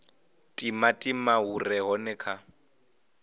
timatima hu re hone kha